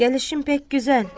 Gəlişim pek gözəl.